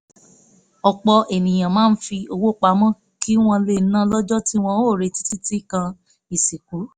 ọ̀pọ̀ ènìyàn máa ń fi owó pamọ́ kí wọ́n lè ná lọ́jọ́ tí wọ́n ò retí títí kan ìsìnkú